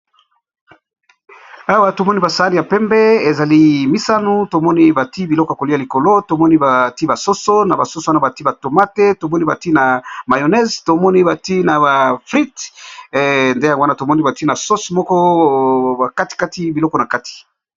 Awa tomoni basani ya pembe ezali mitano tomoni batiye biloko ya koliya likolo tomoni batiye basoso batiye ba tomate batiye pe ba fritte batiye ba mayoneze batiye pe ba sauci